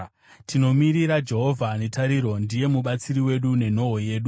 Tinomirira Jehovha netariro; ndiye mubatsiri wedu nenhoo yedu.